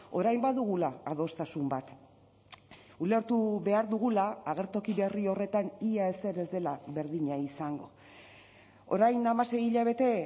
orain badugula adostasun bat ulertu behar dugula agertoki berri horretan ia ezer ez dela berdina izango orain hamasei hilabete